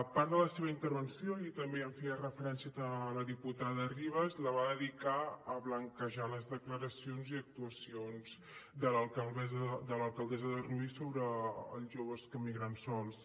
part de la seva intervenció i també hi feia referència la diputada ribas la va dedicar a blanquejar les declaracions i actuacions de l’alcaldessa de rubí sobre els joves que migren sols